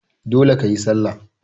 Dole kayi sallah!